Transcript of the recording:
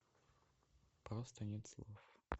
просто нет слов